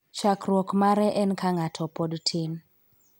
chakruok mare en ka ng'ato pod tin.